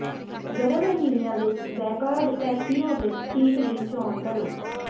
ਗਰਮ ਮਹੀਨਿਆਂ ਵਿੱਚ ਬੈਕਅਰਡ ਪੈਥੀਓ ਵਿਚ ਸੀਟ ਦੀ ਚੋਣ ਕਰੋ